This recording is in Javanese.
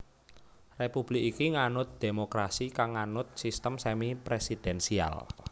Republik iki nganut dhémokrasi kang nganut sistem semi presidensial